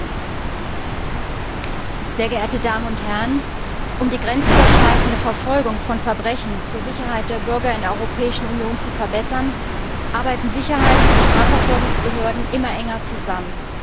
Frau Präsidentin, sehr geehrte Damen und Herren! Um die grenzüberschreitende Verfolgung von Verbrechen zur Sicherheit der Bürger in der Europäischen Union zu verbessern, arbeiten Sicherheits und Strafverfolgungsbehörden immer enger zusammen.